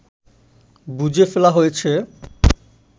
বুজে ফেলা হয়েছে